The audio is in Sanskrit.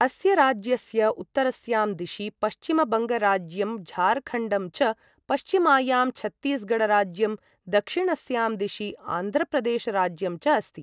अस्य राज्यस्य उत्तरस्यां दिशि पश्चिमबङ्गराज्यं झारखण्डं च, पश्चिमायां छत्तीसगढ राज्यं, दक्षिणस्यां दिशि आन्ध्रप्रदेश राज्यं च अस्ति।